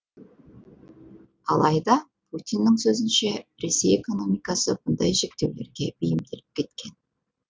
алайда путиннің сөзінше ресей экономикасы мұндай шектеулерге бейімделіп кеткен